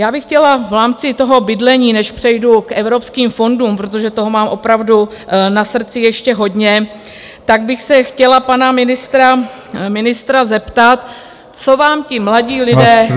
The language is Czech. Já bych chtěla v rámci toho bydlení, než přejdu k evropským fondům, protože toho mám opravdu na srdci ještě hodně, tak bych se chtěla pana ministra zeptat, co vám ti mladí lidé udělali.